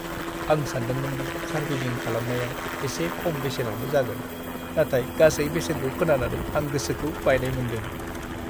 आं सानदोंमोन दि सार्भिसिं खालामनाया एसे खम बेसेनावनो जागोन, नाथाय गासै बेसेनखौ खोनानानै आं गोसोखौ बायनाय मोन्दों।